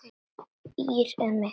ÍR er mitt félag.